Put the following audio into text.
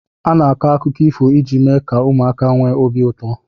Ana-akọ akụkọ ifo iji mee ka ụmụaka nwee obi ụtọ.